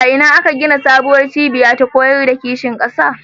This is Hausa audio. A ina aka gina sabuwar cibiya ta koyar da kishin ƙasa?